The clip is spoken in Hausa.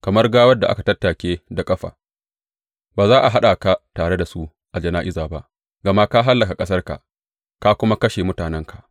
Kamar gawar da aka tattake da ƙafa, ba za a haɗa ka tare da su a jana’iza ba, gama ka hallaka ƙasarka ka kuma kashe mutanenka.